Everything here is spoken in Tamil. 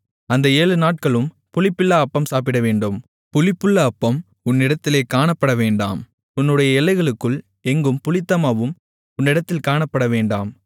அந்த ஏழுநாட்களும் புளிப்பில்லா அப்பம் சாப்பிடவேண்டும் புளிப்புள்ள அப்பம் உன்னிடத்திலே காணப்படவேண்டாம் உன்னுடைய எல்லைக்குள் எங்கும் புளித்தமாவும் உன்னிடத்தில் காணப்படவேண்டாம்